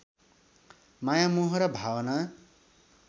माया मोह र भावना